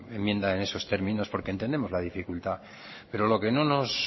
enmienda en esos términos porque entendemos la dificultad pero lo que no nos